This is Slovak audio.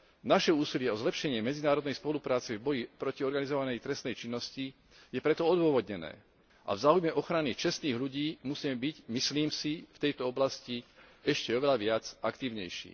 Naše úsilie o zlepšenie medzinárodnej spolupráce v boji proti organizovanej trestnej činnosti je preto odôvodnené a v záujme ochrany čestných ľudí musíme byť, myslím si, v tejto oblasti ešte oveľa aktívnejší.